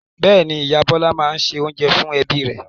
Bẹ́ẹ̀ ni, ìyá Bọ́lá máa ń se oúnjẹ fún ẹbí rẹ̀.